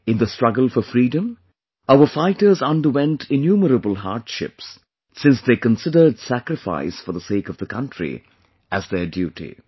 In the struggle for freedom, our fighters underwent innumerable hardships since they considered sacrifice for the sake of the country as their duty